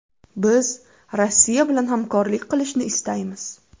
Biz Rossiya bilan hamkorlik qilishni istaymiz.